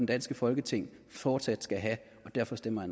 danske folketing fortsat skal have og derfor stemmer